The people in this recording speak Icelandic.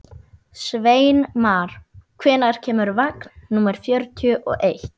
Sveinmar, hvenær kemur vagn númer fjörutíu og eitt?